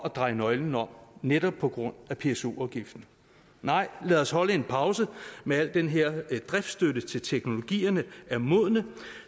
at dreje nøglen om netop på grund af pso afgiften nej lad os holde en pause med al den her driftsstøtte til teknologierne er modne